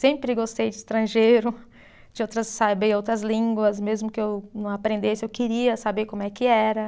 Sempre gostei de estrangeiro, de outras, saber outras línguas, mesmo que eu não aprendesse, eu queria saber como é que era.